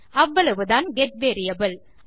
அவ்வளவுதான் get variable